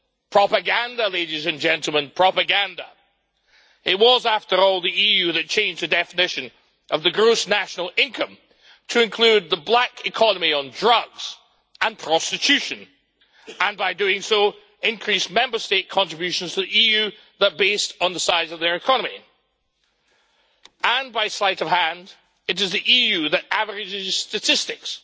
Propaganda, ladies and gentlemen, propaganda. It was after all, the EU that changed the definition of the gross national income to include the black economy on drugs and prostitution and, by doing so, increased Member State contributions to the EU based on the size of their economy. And, by sleight of hand, it is the EU that averages statistics